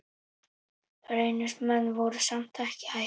Reynismenn voru samt ekki hættir.